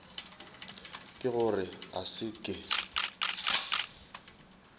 ke gore a se ke